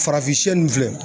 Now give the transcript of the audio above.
Farafin sɛ ninnu filɛ